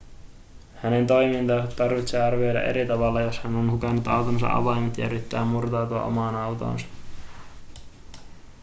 hänen toimintaansa tarvitsee arvioida eri tavalla jos hän on hukannut autonsa avaimet ja yrittää murtautua omaan autoonsa